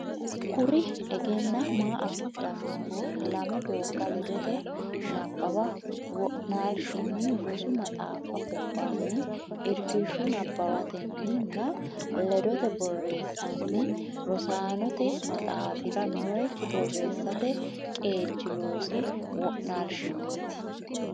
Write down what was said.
Kuri egenaa ma afidhannoti lame doogga ledote nabbawa wo naalshinni rosu maxaaffa gobbaanni irkishshu nabbawatenni nna ledote borreessanni Rosaanote Maxaafira nookki borreessate qeechi loosi wo naalishinniiti.